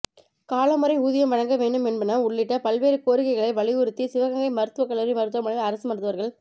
காலமுறை ஊதியம் வழங்க வேண்டும் என்பன உள்ளிட்ட பல்வேறு கோரிக்கைகளை வலியுறுத்தி சிவகங்கை மருத்துவக் கல்லூரி மருத்துவமனையில் அரசு மருத்துவா்கள்